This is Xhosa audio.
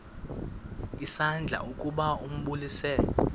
isandla ukuba ambulise